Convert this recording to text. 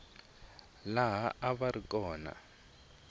laha a va ri kona